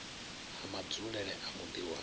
ha madzulele a muḓi wa